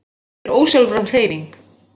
Þetta er ósjálfráð hreyfing.